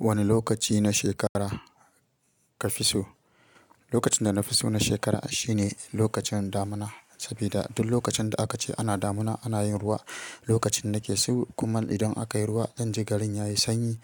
Wane lokaci na shekara kafi so? Lokacin dana fiso na shekara shine lokacin damuna sabida duk lokacin da akace ana damuna ana yin ruwa. Lokacin nake so kuma idan akayi ruwa zanji garin yayi sanyi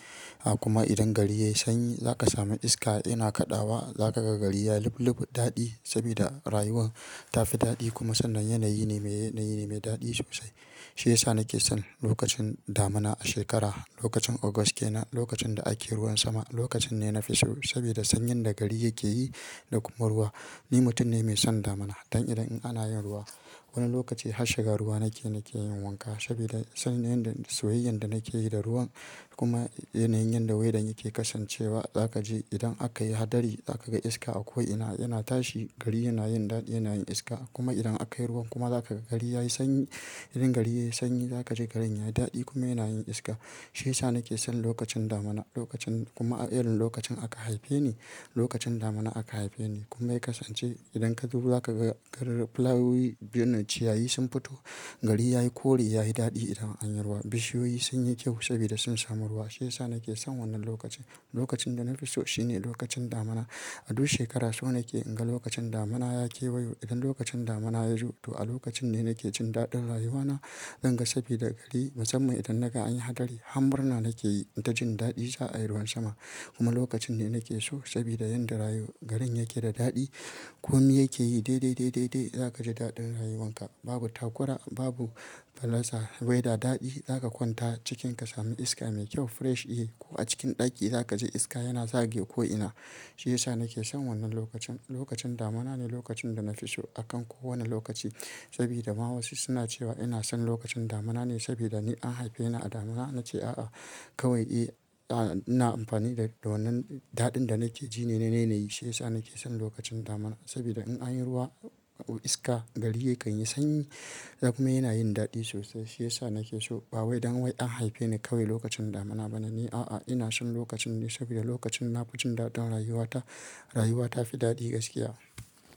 a kuma idan gari yayi sanyi, zaka samu iska yana kaɗawa za kaga gari yayi lublub daɗi sabida rayuwan tafi daɗi kuma sannan yanayi ne mai yanayi ne mai daɗi sosai. Shiyasa nake son lokacin damuna a shekara. Lokacin August kenan, lokacin da ake ruwan sama lokacin ne nafi so sabida sanyin da gari yake yi da kuma ruwa. Ni mutum ne mai son damuna. Dan idan in anayin ruwa, wani lokaci har shiga ruwa nake nake yin wanka sabida sanyin da soyayyan da nakeyi da ruwan kuma yanayin yadda waidan yake kasancewa zakaji idan akayi hadari zakaga iska a ko'ina yana tashi, gari yana yin dadi yana yin iska kuma idan akayi ruwan kuma zakaga gari yayi sanyi. Idan gari ya yi sanyi za ka ji garin ya yi daɗi kuma yana yin iska. Shiyasa nake son lokacin damuna, lokacin kuma a irin lokacin aka haife ni lokacin damuna aka haife ni kuma yakansance idan kaji ruwa za kaga garin fulawoyi biyun ciyayi sun fito, gari ya yi kore, yayi daɗi idan an yi ruwa, bishiyoyi sunyi kyau sabida sun samu ruwa. Shiyasa nake son wannan lokacin. Lokacin dana fiso shine lokacin damuna. A duk shekara so nake inga lokacin damuna ya kewayo. Idan lokacin damuna yazo to a lokacinne nake jin daɗin rayuwana zanga sabida gari musamman idan naga anyi hadari, har murna nakeyi inta jin daɗi za'ayi ruwan sama kuma lokacinne nakeso sabida yanda rayu garin yakeda daɗi komi yakeyi dai, dai, dai, dai, dai zakaji daɗin rayuwanka. Babu takura, babu pallasa weda daɗi. Zaka kwanta cikin ka sami iska mai kyau fresh yi ko a cikin ɗaki zakaji iska yana zagaya ko'ina. Shiyasa nake son wannan lokacin. Lokacin damunane lokacinda nafi so akan kowane lokaci sabida ma wasu suna cewa inason lokacin damuna ne sabida ni an haife ni a damuna nace a'a kawai e, a ina amfani da wannan daɗin da nakejine na yanayi. Shiyasa nake son lokacin damuna sabida in anyi ruwa iska, gari yakanyi sanyi kuma yana yin daɗi sosai. Shiyasa nakeso. Ba wai don wai an haifeni kawai lokacin damuna bane ni a'a ina son lokacinne sabida lokacin na fijin daɗin rayuwata. Rayuwa ta fi daɗi gaskiya.